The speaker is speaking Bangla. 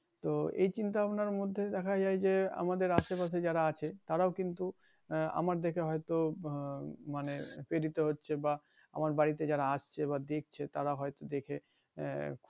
এই চিন্তা ভাবনার মধ্যে দেখা যায় যে আমাদের আশে পাশে যারা আছে তারাও কিন্তু আহ আমায় দেখে হয়তো হম মানি প্রেরিত হচ্ছে বা আমার বাড়িতে যারা আসছে বা দেখছে তারা হয়তো দেখে